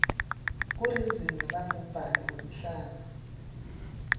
kulizinga labhubhane wemhlaba